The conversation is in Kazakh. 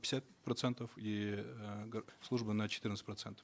пятьдесят процентов и э служба на четырнадцать процентов